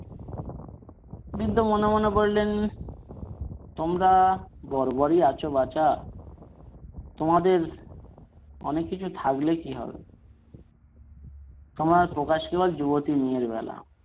বৃদ্ধ মনে মনে বললেন তোমরা বর্বরই আছ বাছা তোমাদের অনেককিছু থাকলে কি হবে তোমরা যুবতী মেয়ের বেলা।